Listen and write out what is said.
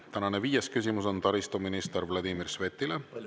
Tänane viies küsimus on taristuminister Vladimir Svetile.